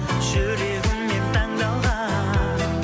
жүрегіммен таңдалған